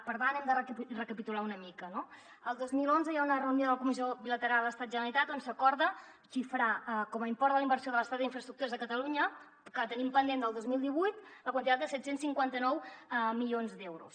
per tant hem de recapitular una mica no el dos mil onze hi ha una reunió de la comissió bilateral estat generalitat on s’acorda xifrar com a import de la inversió de l’estat en infraestructures a catalunya que tenim pendent del dos mil divuit la quantitat de set cents i cinquanta nou milions d’euros